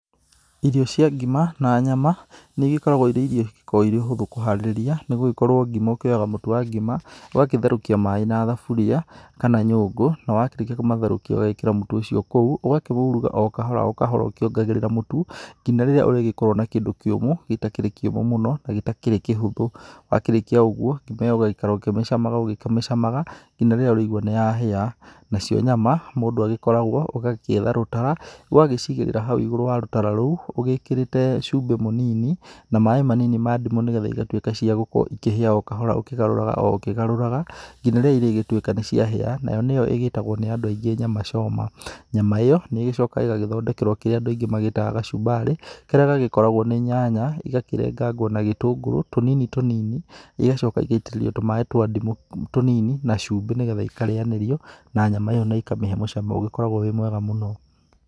Irio cĩa ngima na nyama nĩ igĩkoragwo ĩrĩ irio ikoragwo ĩrĩ hũthũ kũharĩria, nĩgũgĩkorwo ngima woyaga mũtu wa ngima, ũgagĩtherũkĩa maĩ na thaburia kana nyũngũ, na wakĩrĩkia kũmatherũkia ũgekĩra mũtu ũcio kũu, ũgakĩuruga o kahora o kahora ũkiongagĩrĩra mũtu nginya rĩrĩa ũrĩgĩkorwo na kĩndũ kĩũmũ, gĩtakĩrĩ kĩũmũ mũno na gĩtakĩrĩ kĩhũthũ. Wakĩrĩkia ũguo, ngima ĩyo ũgaikaraga ũkĩmĩcamaga o ũkĩmĩcamaga nginya rĩrĩa ũrĩigua nĩ yahĩa. Nacio nyama, mũndu agĩkoragwo ũgagĩetha rũtara, ũgacigĩrira hau igũrũ wa rũtara rũu ũgĩkĩrĩte cumbĩ mũnini na maĩ manini ma ndimũ, nĩgetha ĩgatuĩka cia gũkorwo ĩkĩhĩa o kahora, ũkĩgaruraga o ũkĩgarũraga nginya rĩrĩa irĩgĩtuĩka nĩ cĩahĩa, nayo nĩyo igĩĩtagwo nĩ andũ aĩngĩ nyama choma. Nyama ĩyo nĩ ĩgĩcokaga ĩgagĩthondekerwo kĩrĩa andũ aingĩ magĩtaga gacumbarĩ, karĩa gagĩkoragwo nĩ nyanya ĩgakĩrengangwo na gĩtũngũrũ tũnini tũnini, igacoka igaitĩrĩrio tũmaĩ twa ndĩmu tũnini na cumbĩ, nĩgetha ikarĩyanĩrio na nyama ĩyo na ikamĩhe mũcamo ũgĩkoragwo wĩ mwega mũno.